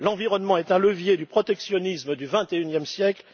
L'environnement est un levier du protectionnisme du vingt et unième siècle.